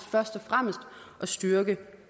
først og fremmest at styrke